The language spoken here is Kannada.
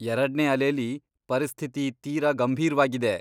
ಎರಡ್ನೇ ಅಲೆಲಿ ಪರಿಸ್ಥಿತಿ ತೀರ ಗಂಭೀರ್ವಾಗಿದೆ.